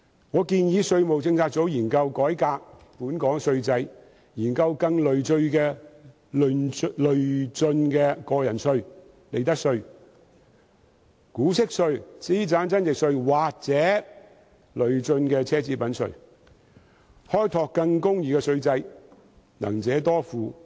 我建議稅務政策組研究改革本港稅制，研究更累進的薪俸稅及個人入息課稅、利得稅、股息稅、資產增值稅或累進的奢侈品稅，開拓更公義的稅制，能者多付。